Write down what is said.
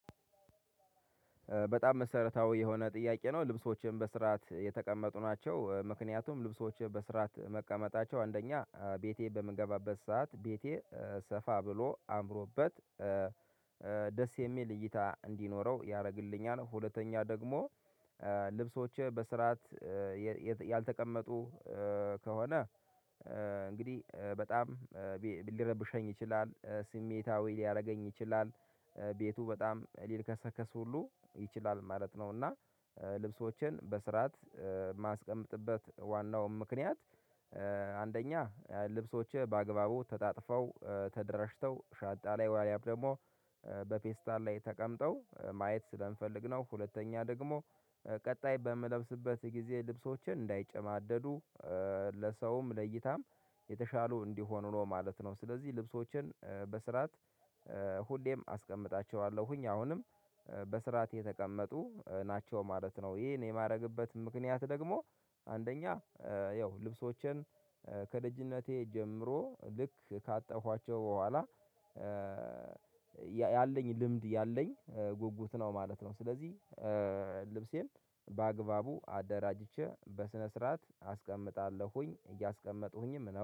በጣም መሰረታዊ የሆነ ጥያቄ ነው። ልብሶችም በስርዓት የተቀመጡ ናቸው ምክንያቱም ልብሶችም በስርዓት መቀመጣቸው አንደኛ ቤቴ በምንገባበት ሰዓት ቤቴ ሰፋ ብሎ አምሮበት ደስ የሚል እይታ እንዲኖረው ያደርግልኛል። ሁለተኛ ደግሞ ልብሶችህ በስርዓት ያልተቀመጡ ከሆነ እንግዲህ በጣም ሊረብሸኝ ይችላል ስሜታዊ ሊያደርገኝ ይችላል ቤቱ በጣም ሊልከሰከስ ሁሉ ይችላል ማለት ነው። እና ልብሶችን በስርዓት የማስቀምጥበት ዋናው ምክንያት አንደኛ ልብሶችህ በአግባቡ ተጣጥፈው ተደራጅተው ሻንጣ ላይ ወይም ደግሞ በፔስታል ላይ ተቀምጠው ማየት ስለንፈልግ ነው። ሁለተኛ ደግሞ ቀጣይ በምለብስበት ጊዜ ልብሶችን እንዳይጨማደዱ ለሰውም ለእይታም የተሻሉ እንዲሆኑ ነው ማለት ነው። ስለዚህ ልብሶችን በስርዓት ሁሌም አስቀምጣቸዋለሁኝ አሁንም በስርዓት የተቀመጡ ናቸው ማለት ነው። ይሄን የማደርግበት ምክንያት ደግሞ አንደኛ ያው ልብሶችን ከልጅነቴ ጀምሮ ልክ ካጠፍኋቸው በኋላ ልምድ ያለኝ ጉጉት ነው ማለት ነው። ስለዚህ ልብሴን በአግባቡ አደራጅቼ በስነ ስርዓት አስቀምጣለሁኝ እያስቀመጡኝም